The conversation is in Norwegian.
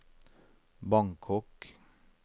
Bangkok